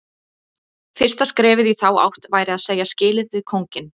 Fyrsta skrefið í þá átt væri að segja skilið við kónginn.